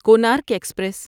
Konark express